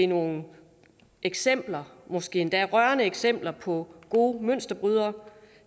nogle eksempler måske endda rørende eksempler på gode mønsterbrydere